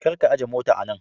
Kar ka aje mota a nan.